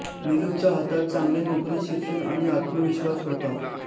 निलुच्या हातात चांगली नोकरी शिक्षण आणि आत्मविश्वास होता